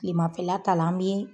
kilema fɛla ta la an be